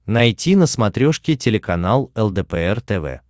найти на смотрешке телеканал лдпр тв